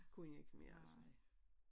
Kunne jeg ikke mere altså